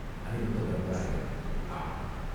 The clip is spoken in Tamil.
அநிருத்தப் பிரமராயர் "ஆகா!